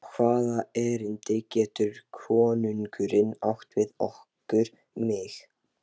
Og hvaða erindi getur konungurinn átt við okkur, mig?